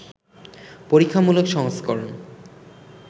পরীক্ষামূলক সংস্করণ